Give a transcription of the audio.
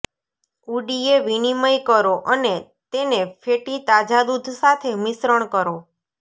ઉડીએ વિનિમય કરો અને તેને ફેટી તાજા દૂધ સાથે મિશ્રણ કરો